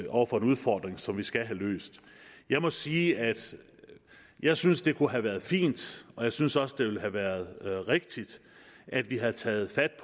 over for en udfordring som vi skal have løst jeg må sige at jeg synes det kunne have været fint og jeg synes også det ville have været rigtigt at vi havde taget fat